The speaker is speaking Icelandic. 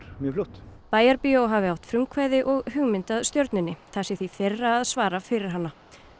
mjög fljótt bæjarbíó hafi átt frumkvæði og hugmyndina að stjörnunni það sé því þeirra að svara fyrir hana